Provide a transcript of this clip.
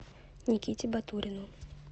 никите батурину